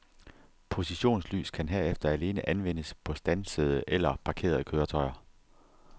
Positionslys kan herefter alene anvendes på standsede eller parkerede køretøjer.